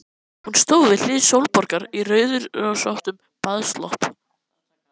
Hún stóð við hlið Sólborgar í rauðrósóttum baðslopp.